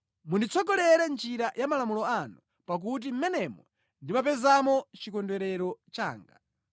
Munditsogolere mʼnjira ya malamulo anu, pakuti mʼmenemo ndimapezamo chikondwerero changa.